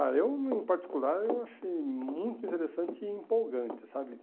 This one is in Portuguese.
Ah, eu, em particular, eu achei muito interessante e empolgante, sabe?